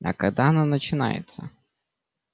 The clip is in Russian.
а когда оно начинается